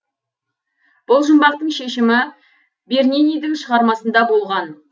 бұл жұмбақтың шешімі бернинидің шығармасында болған